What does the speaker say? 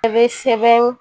A bɛ sɛbɛn